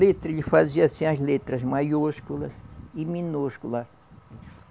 Letra, ele fazia assim, as letras maiúsculas e minúscula.